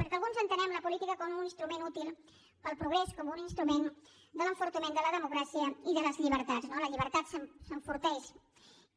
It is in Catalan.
perquè alguns entenem la política com un instrument útil per al progrés com un instrument de l’enfortiment de la democràcia i de les llibertats no la llibertat s’enforteix